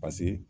Paseke